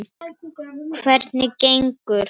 Hvernig gengur?